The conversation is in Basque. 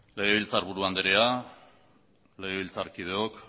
legebiltzarburu andrea legebiltzarkideok